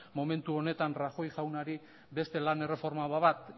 momentu honetan rajoy jaunari beste lan erreforma bat